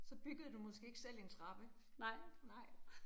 Så byggede du måske ikke selv en trappe, nej